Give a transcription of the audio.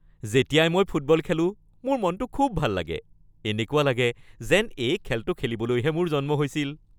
যেতিয়াই মই ফুটবল খেলোঁ, মোৰ মনটো খুব ভাল লাগে। এনেকুৱা লাগে যেন এই খেলটো খেলিবলৈহে মোৰ জন্ম হৈছিল।